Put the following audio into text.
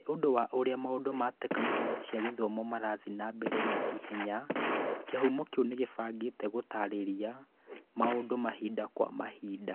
Nĩ ũndũ wa ũrĩa maũndũ ma tekinolonjĩ cia gĩthomo marathiĩ na mbere na ihenya, Kĩhumo kĩu nĩ kĩbangĩte gũtaarĩria maũndũ mahinda kwa mahinda.